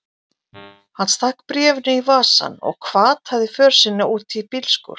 Hann stakk bréfinu í vasann og hvataði för sinni út í bílskúr.